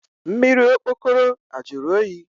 Mmiri okpokoro a jụrụ oyi?